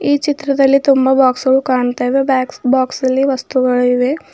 ಈ ಚಿತ್ರದಲ್ಲಿ ತುಂಬಾ ಬಾಕ್ಸ್ ವು ಕಾಣ್ತಾ ಇವೆ ಬಾಗ್ಸ್ ಬಾಕ್ಸ್ ಅಲ್ಲಿ ವಸ್ತುಗಳಿವೆ.